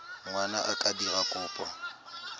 ngwana a ka dira kopo